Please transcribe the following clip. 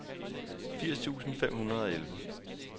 firs tusind fem hundrede og elleve